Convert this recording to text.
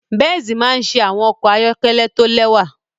Benz maa n ṣe awọn ọkọ ayọkẹlẹ to lẹwa